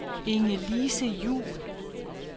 Ingelise Juhl